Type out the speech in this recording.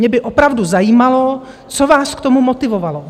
Mě by opravdu zajímalo, co vás k tomu motivovalo.